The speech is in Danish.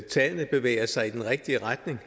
tallene bevæger sig i den rigtige retning